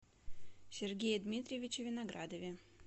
сергее дмитриевиче виноградове